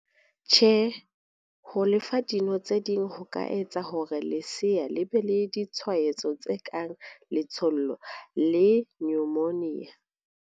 Karabo- Tjhe, ho le fa dino tse ding ho ka etsa hore lesea le be le ditshwaetso tse kang letshollo le nyomonia.